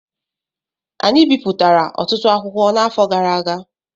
Anyị bipụtara ọtụtụ akwụkwọ n'afọ gara aga